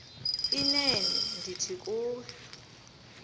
inene ndithi kuwe